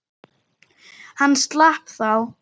Hann slapp þá.